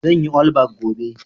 zanyi allback gobe